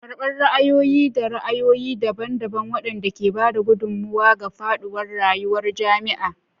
Karɓar ra'ayoyi da ra'ayoyi daban-daban waɗanda ke ba da gudummawa ga faɗuwar rayuwar jami'a.